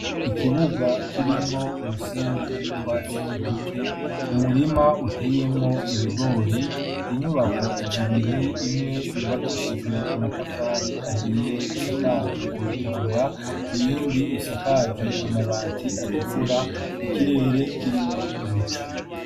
Ikibuga kirimwo umusenyi n'utwatsi duke murima uteyemwo ibigori inyubako zibiri imwe yubakishijwe amatafari ahiye isakaje amatigura iyindi isakaje amabati atukura ikirere kirimwo ibicu.